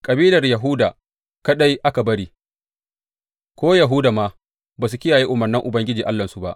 Kabilar Yahuda kaɗai aka bari, ko Yahuda ma ba su kiyaye umarnan Ubangiji Allahnsu ba.